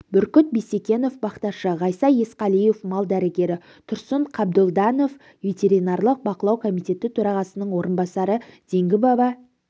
бүркіт бисекенов бақташы ғайса есқалиев мал дәрігері тұрсын қабдолданов ветеринарлық бақылау комитеті төрағасының орынбасары зеңгі баба